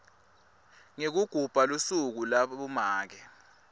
yekugubha lusuku labomake